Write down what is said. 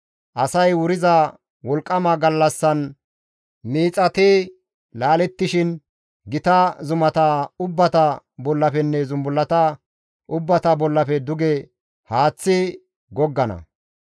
Asay wuriza wolqqama gallassan miixati laalettishin gita zumata ubbata bollafenne zumbullata ubbata bollafe duge haaththi goggana.